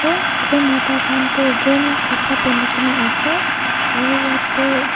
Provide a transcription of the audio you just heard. te edu mota khan toh green kapra pinikae na ase aro yatae.